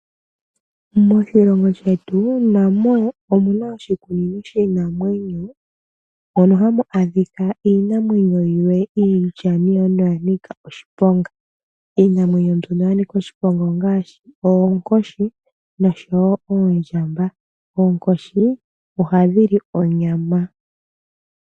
Moshilongo shetu namo omuna oshikunino shiinamwenyo mono hamu adhika iinamwenyo yimwe iinamwenyo mbyoka ya nika oshiponga ,iinamwenyo mbika ongaashi oondjamba noonkoshi ,oonkoshi ohadhi li onyama.